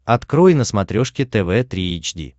открой на смотрешке тв три эйч ди